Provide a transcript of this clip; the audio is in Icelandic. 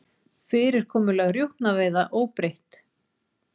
Fyrirkomulag rjúpnaveiða óbreytt